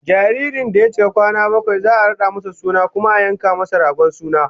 Jaririn da ya cika kwana bakwai za'a rada masa suna kuma a yanka masa dragon suna